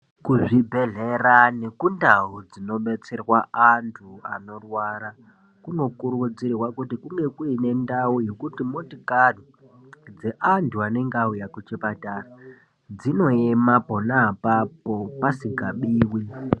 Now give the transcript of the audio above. Kuzvibhedhlera nekundau dzinodetserwa antu anorwara kunokurudzirwa kuti kunge kuine ndau yekuti motikari dzeantu anenge auya kuchipatara dzinoema pona apapo pasingabiwi